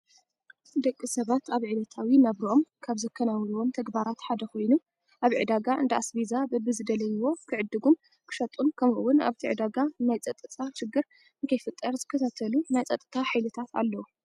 ደቂ ሰባት አብ ዕለታዊ ናብርኦም ካብ ዘከናውኑዎም ተግባራት ሓደ ኮይኑ ኣብ ዕዳጋ እንዳ አስቤዛ በቢ ዝደልይዎ ክዕድጉን ክሸጡን ክምኡ እውን አብቲ ዕዳጋ ናይ ፀፅታ ሽግር ነከይፍጠር ዝከታተሉ ናይ ፀፅታ ሓይልታት አለው።